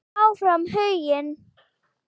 Áfram Huginn.